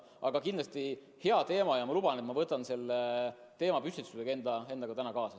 Aga see on kindlasti hea teema ja ma luban, et võtan selle teemapüstituse endaga täna siit kaasa.